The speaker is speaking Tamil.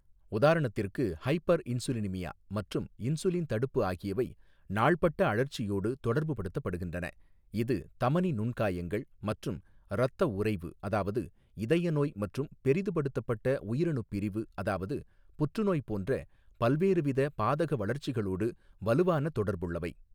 உதாரணத்திற்கு ஹைபர்இன்சுலினிமியா மற்றும் இன்சுலின் தடுப்பு ஆகியவை நாள்பட்ட அழற்சியோடு தொடர்புபடுத்தப்படுகின்றன இது தமனி நுண்காயங்கள் மற்றும் இரத்த உறைவு அதாவது இதய நோய் மற்றும் பெரிதுபடுத்தப்பட்ட உயிரணுப் பிரிவு அதாவது புற்றுநோய் போன்ற பல்வேறுவித பாதக வளர்ச்சிகளோடு வலுவான தொடர்புள்ளவை.